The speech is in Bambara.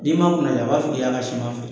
N'i ma kunnadiya a b'a fɔ k'i y'a ka siman feere.